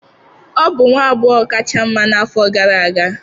Ọ bụ nwa agbọghọ kacha mma n'afọ gara aga